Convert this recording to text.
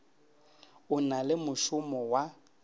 o na le mošomo wa